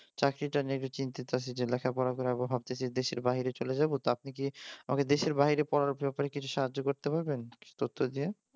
চাকরিটা নিয়ে চিন্তিত আছি যে লেখাপড়া করে আবার ভাবতেছি দেশের বাহিরে চলে যাব তা আপনি কি আমাকে দেশের বাইরে পড়ার ব্যাপারে কিছু সাহায্য করতে পারবেন তথ্য দিয়ে?